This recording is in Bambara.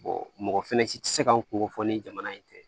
mɔgɔ fɛnɛ si tɛ se ka n kunko fɔ ni jamana in tɛ